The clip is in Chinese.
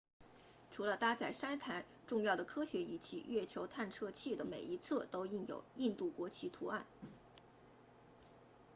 除了搭载三台重要的科学仪器月球探测器的每一侧都印有印度国旗图案